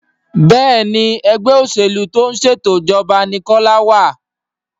Béèni Ẹgbẹ́ òṣèlú tó ń ṣètò ìjọba ní Kola wá.